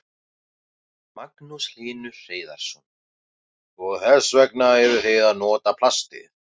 Magnús Hlynur Hreiðarsson: Og þess vegna eruð þið að nota plastið?